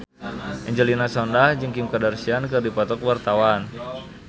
Angelina Sondakh jeung Kim Kardashian keur dipoto ku wartawan